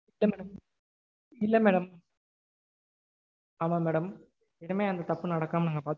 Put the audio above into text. இல்ல madam. இல்ல madam ஆமா madam. இனிமேல் அந்த தப்பு நடக்காம நா பாத்துக்கிறேன் madam.